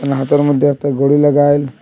ওনা হাতের মধ্যে একটা ঘড়ি লাগাইল।